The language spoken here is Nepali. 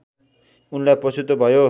उनलाई पछुतो भयो